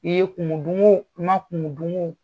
I ye kumu dun o i ma kumu dun o